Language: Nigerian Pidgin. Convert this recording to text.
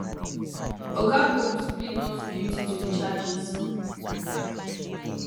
oga combs plead not guilty to di charges